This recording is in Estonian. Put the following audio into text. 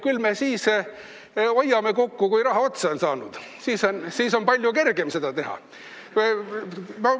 Küll me siis hoiame kokku, kui raha otsa on saanud, siis on palju kergem seda teha.